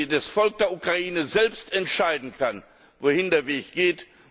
das Volk der Ukraine selbst entscheiden kann, wohin der Weg geht.